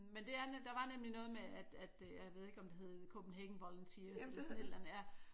Men det er der var nemlig noget med at jeg ved ikke om det hed Copenhagen Volunteers eller sådan et eller andet ja